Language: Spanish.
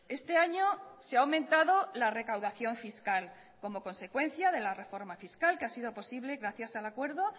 este año se ha aumentado la recaudación fiscal como consecuencia de la reforma fiscal que ha sido posible gracias al acuerdo